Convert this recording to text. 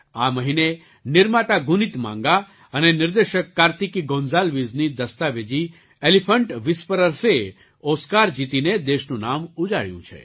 આ મહિને નિર્માતા ગુનીત માંગા અને નિર્દેશક કાર્તિકી ગોંસાલ્વિસની દસ્તાવેજી એલિફન્ટ વ્હિસ્પર્સએ ઑસ્કાર જીતીને દેશનું નામ ઉજાળ્યું છે